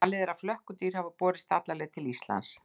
Talið er að flökkudýr hafi borist alla leið til Íslands.